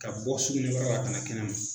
Ka bɔ suguni kurala la na kɛnɛ ma